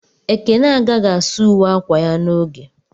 Ekene agaghị asa uwe akwa ya n'oge.